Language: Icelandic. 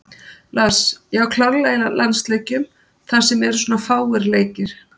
Lars: Já, klárlega í landsleikjum þar sem eru svona fáir leikir.